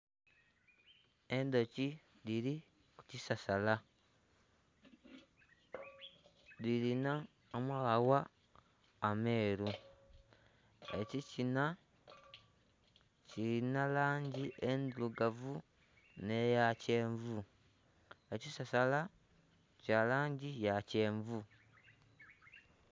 Endhoki dhiri kukisasala dhirina amaghagha ameru ekikina kilina langi endhurugavu neya kyenvu ekisasala kya langi ya kyenvu .